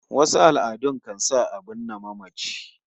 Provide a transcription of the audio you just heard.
Wasu al'adun kan sa a binne mamaci